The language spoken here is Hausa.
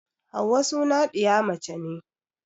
Hauwa suna ɗiya mace ne